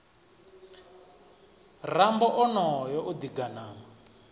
rambo onoyo o ḓi ganama